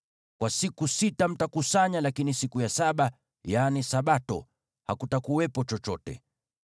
Kwa siku sita mtakusanya, lakini siku ya saba, yaani Sabato, hakutakuwepo chochote.”